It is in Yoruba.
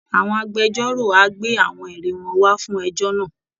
Àwọn agbẹjọ́rò á gbé àwọn ẹ̀rí wọn wá fún ẹjọ́ náà